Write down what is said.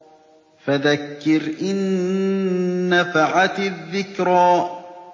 فَذَكِّرْ إِن نَّفَعَتِ الذِّكْرَىٰ